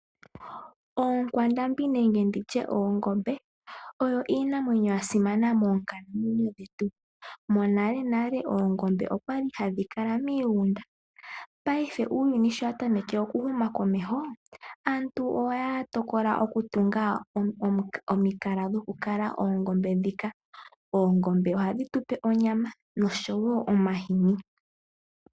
Oonkwandambi nenge nditye oongombe oyo iinamwenyo ya simana moonkalamwenyo dhetu. Monalenale oongombe okwali hadhi kala miigunda, paife uuyuni shi wa tameke oku huma komesho aantu ohaya tokola oku tunga omikala dhoku kala oongombe dhika. Oongombe ohadhi tupe onyama oshowo omahini.